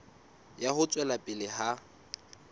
ya ho tswela pele ha